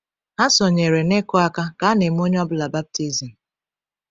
Ha sonyere n’ịkụ aka ka a na-eme onye ọ bụla baptizim.